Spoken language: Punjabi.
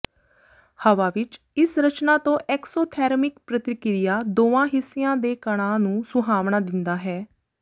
ਹਵਾ ਵਿਚ ਇਸ ਰਚਨਾ ਤੋਂ ਐਕਸੋਥੈਰਮਿਕ ਪ੍ਰਤੀਕ੍ਰਿਆ ਦੋਵਾਂ ਹਿੱਸਿਆਂ ਦੇ ਕਣਾਂ ਨੂੰ ਸੁਹਾਵਣਾ ਦਿੰਦਾ ਹੈ